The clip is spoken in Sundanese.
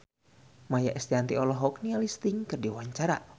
Maia Estianty olohok ningali Sting keur diwawancara